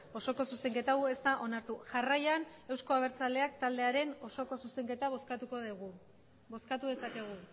osoko zuzenketa hau ez da onartu jarraian euzko abertzaleak taldearen osoko zuzenketa bozkatuko dugu bozkatu dezakegu